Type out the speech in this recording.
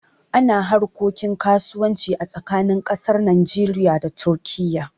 Ana harkokin kasuwanci a tsakanin ƙasar Najeriya da Turkiye